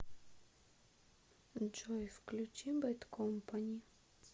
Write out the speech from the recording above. джой включи бэд компани